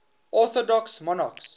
orthodox monarchs